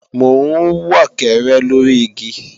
Mò ń wọ̀kẹ́rẹ́ lóri igi